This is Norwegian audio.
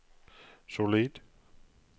solid